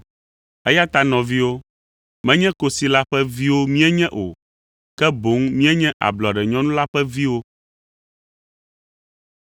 Eya ta nɔviwo, menye kosi la ƒe viwo míenye o, ke boŋ míenye ablɔɖenyɔnu la ƒe viwo.